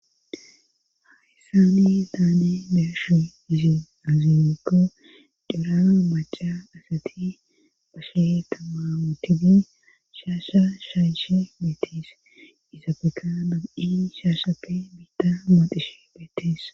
hayssani taane be7ashi izin azimeko dila maca asati bashe tamamutini shaasha shayshe meetees izabeka mabi7i shaashape biitta mooxishe beetees.